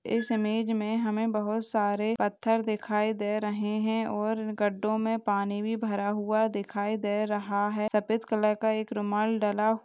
इस मेज में हमे बहुत सारे पत्थर दिखाई दे रहें हैं और इन गड्ढों में पानी भी भरा हुआ दिखाई दे रहा है। सफेद कलर का एक रुमाल डला--